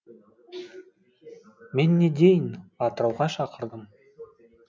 мен не дейін атырауға шақырдым